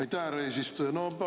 Aitäh, härra eesistuja!